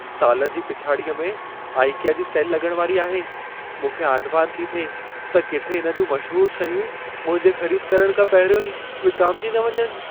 साल जी पिछाड़ीअ में आइकिया जी सेल लॻण वारी आहे। मूंखे आंधिमांध थी थिए त किथे इन जूं मशहूर शयूं मुंहिंजे ख़रीद करण खां पहिरियों ई विकामिजी न वञनि।